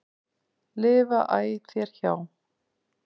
lifa æ þér hjá.